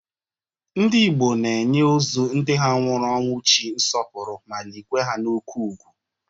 Ndị Igbo na-enye ozo ndị ha nwụrụ ọnwụchi nsọpụrụ ma likwa ha n'oke ụgwụ.